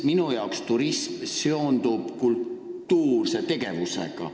Minu jaoks turism seondub kultuurse tegevusega.